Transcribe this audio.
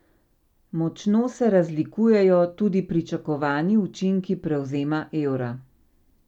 Močno se razlikujejo tudi pričakovani učinki prevzema evra.